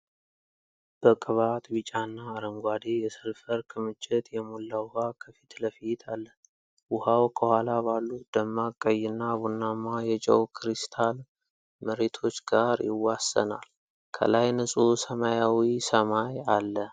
በቅባት ቢጫና አረንጓዴ የሰልፈር ክምችት የሞላ ውሃ ከፊት ለፊት አለ። ውሃው ከኋላ ባሉት ደማቅ ቀይና ቡናማ የጨው ክሪስታል መሬቶች ጋር ይዋሰናል። ከላይ ንጹህ ሰማያዊ ሰማይ አለ።